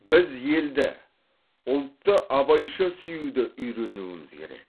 біз елді ұлтты абайша сүюді үйренуіміз керек